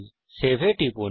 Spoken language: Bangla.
সেভ এ টিপুন